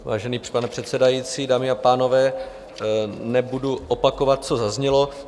Vážený pane předsedající, dámy a pánové, nebudu opakovat, co zaznělo.